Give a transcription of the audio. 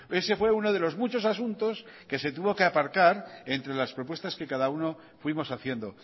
ese fue uno de los muchos asuntos que se tuvo que aparcar entre las propuestas que cada uno fuimos haciendo